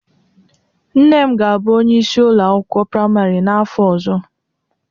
Nne m ga-abụ onyeisi ụlọ akwụkwọ praimarị n'afọ ọzọ